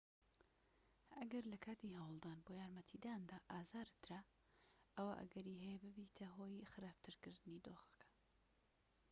ئەگەر لەکاتی هەوڵدان بۆ یارمەتیداندا ئازارت درا ئەوا ئەگەری هەیە ببیتە هۆی خراپترکردنی دۆخەکە